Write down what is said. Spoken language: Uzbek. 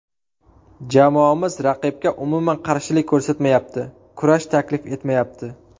Jamoamiz raqibga umuman qarshilik ko‘rsatmayapti, kurash taklif etmayapti.